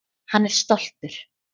Hann er stoltur.